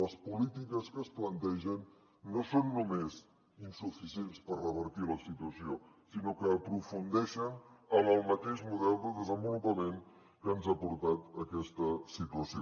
les polítiques que es plantegen no són només insuficients per revertir la situació sinó que aprofundeixen en el mateix model de desenvolupament que ens ha portat a aquesta situació